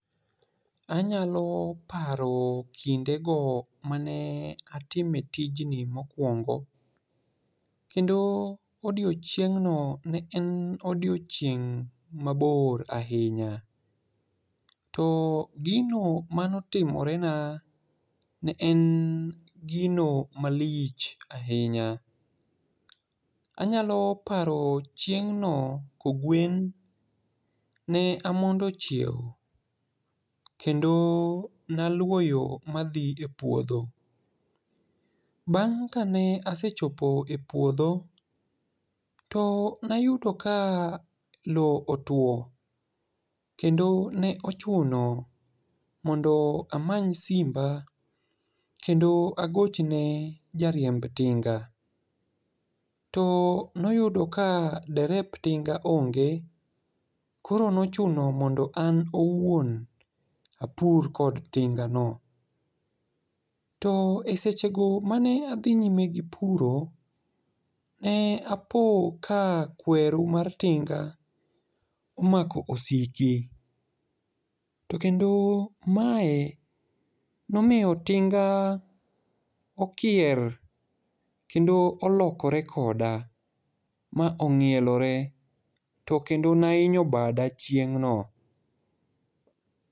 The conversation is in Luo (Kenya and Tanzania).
Anyalo paro kinde go mane atime tijni mokwongo. Kendo odiechieng' no ne en odiechieng' mabor ahinya. To gino mane otimore na ne en gino malich ahinya. Anyalo paro chieng' no kogwen, ne amondo chiewo, kendo naluwo yo madhi e puodho. Bang' kane asechopo e puodho to ne ayudo ka lowo otwo. Kendo ne ochuno mondo amany simba kendo agochne ja riemb tinga. To ne oyudo ka derep ting'a onge. Koro ne ochuno mondo an owuon, apur kod tinga no. To e seche go mane adhi nyime gi puro, ne apo ka kweru mar tinga omako osiki. To kendo mae nomiyo tinga okier. Kendo olokore koda ma ong'ielore. To kendo ne ahinyo bada chieng'no.